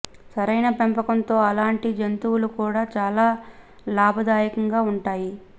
సరైన పెంపకం తో అలాంటి జంతువులు కూడా చాలా లాభదాయకంగా ఉంటాయి